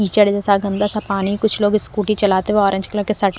कीचड़ जैसा गंदा सा पानी कुछ लोग स्कूटी चलते हुए ऑरेंज कलर के साथ--